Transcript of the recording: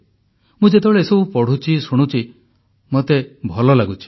ମୁଁ ଯେତେବେଳେ ଏସବୁ ପଢ଼ୁଛି ଶୁଣୁଛି ମୋତେ ଭଲ ଲାଗୁଛି